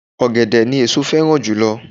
Ọ̀gẹ̀dẹ̀ ni èso féràn jùlo